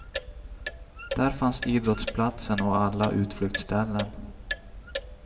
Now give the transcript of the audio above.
Där fanns idrottsplatsen och alla utflyktsställen.